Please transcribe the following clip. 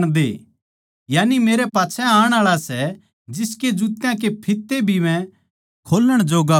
यानि मेरै पाच्छै आण आळा सै जिसके जुत्या के फित्ते भी मै खोल्लण जोग्गा कोनी